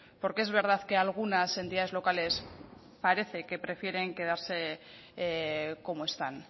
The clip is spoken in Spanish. porque es verdad que algunas entidades locales parece que prefieren quedarse como están